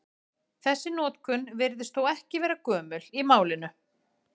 Þessi notkun virðist þó ekki gömul í málinu.